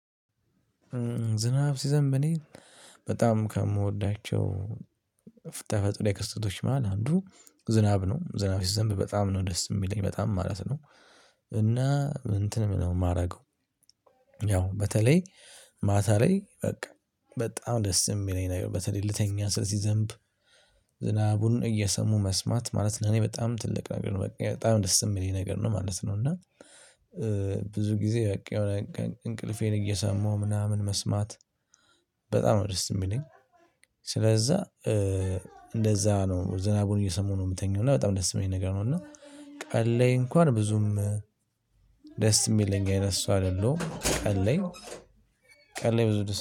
ዝናብ ሲዘንብ እኔ በጣም ከምወዳቸው ፍተፈጥሮአዊ ክስተቶች መሃል አንዱ ዝናብ ነው። ዝናብ ሲዘንብ በጣም ነው ደስ የሚለኝ በጣም ማለት ነው። እና እንትንም ነው የማደርገው። ያው በተለይ ማታ ላይ በቃ በጣም ደስ የሚለኝ ነገር በተለይ ልተኛ ስል ሲዘንብ። ዝናቡን እየሰሙ መስማት ማለት እኔ በጣም ትልቅ ነገር ነው በቃ ደስ የሚለኝ ነገር ነው ማለት ነው። እና ብዙ ጊዜ በቃ የሆነ እንቅልፌን እየሰማሁ ምናምን መስማት በጣም ነው ደስ የሚለኝ። ስለዛ። እንደዛ ነው ዝናቡን እየሰሙ ነው የምተኛው እና በጣም ደስ የሚለኝ ነገር ነው። እና ቀን ላይ እንኳን ብዙም ደስ የሚለኝ አይነት ሰው አይደለሁም። ቀን ላይ ቀን ላይ ብዙ ደስ